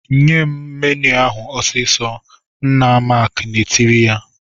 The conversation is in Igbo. "Nye m menụ ahụ ọsịsọ!" Nna Mark na-etiri ya.